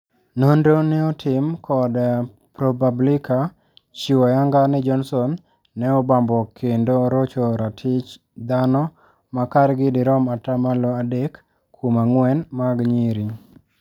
Nonro ne otim kod Propublica chiwo ayanga ni Johnson ne obambo kend orocho ratich dhano makargi dirom atamalo adek kuom angwen mag nyiri.